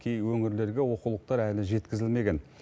кейбір өңірлерге оқулықтар әлі жеткізілмеген